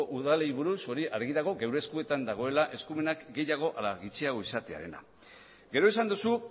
udalei buruz hori argi dago gure eskuetan dagoela eskumenak gehiago ala gutxiago izatearena gero esan duzu